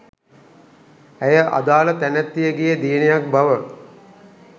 ඇය අදාළ තැනැත්තියගේ දියණියක් බව